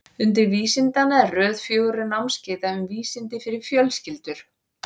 Undur vísindanna er röð fjögurra námskeiða um vísindi fyrir fjölskyldur.